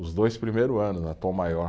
Os dois primeiros anos, na Tom Maior.